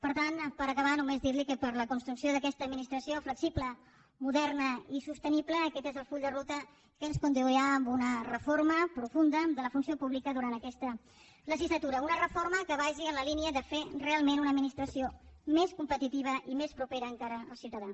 per tant per acabar només dir li que per a la construcció d’aquesta administració flexible moderna i sostenible aquest és el full de ruta que ens conduirà a una reforma profunda de la funció pública durant aquesta legislatura una reforma que vagi en la línia de fer realment una administració més competitiva i més propera encara al ciutadà